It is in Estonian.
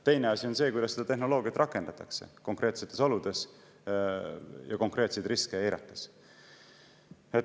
Teine asi on see, kuidas seda tehnoloogiat rakendatakse konkreetsetes oludes ja konkreetseid riske eirates.